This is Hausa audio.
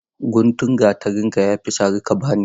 Guntun gatarin ka yafi sari ka bani.